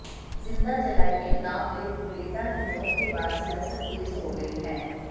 जिंदा जलाई गई उन्नाव रेप पीड़िता की मौत के बाद सिसायत तेज हो गई है